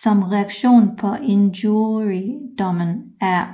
Som reaktion på injuriedommen